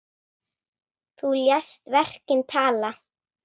Þú lést verkin tala.